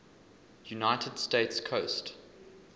united states coast